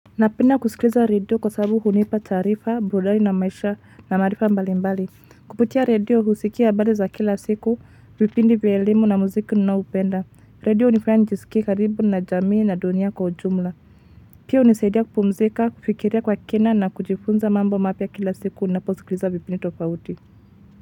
Napenda kusikiliza radio kwa sababu hunipa taarifa, burudani na maisha na maarifa mbali mbali. Kupitia radio husikia habari za kila siku, vipindi vya elimu na muziki ninao upenda. Radio hunifuaya njisikie karibu na jamii na dunia kwa ujumla. Pia hunisaidia kupumzika, kufikiria kwa kina na kujifunza mambo mapya kila siku ninaposikiliza vipindi tofauti.